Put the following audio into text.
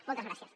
moltes gràcies